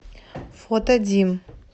фото дим